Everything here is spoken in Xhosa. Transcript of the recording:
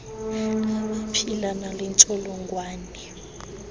abaphila nale ntsholongwane